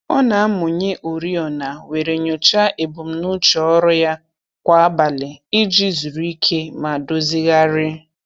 Ọ na-amụnye oriọna were nyocha ebumnuche ọrụ ya kwa abalị iji zuru ike ma dozighari.